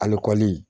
Alikɔli